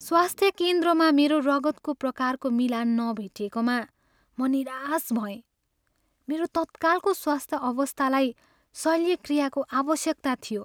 स्वास्थ्य केन्द्रमा मेरो रगतको प्रकारको मिलान नभेटिएकोमा म निराश भएँ। मेरो तत्कालको स्वास्थ्य अवस्थालाई शल्यक्रियाको आवश्यकता थियो।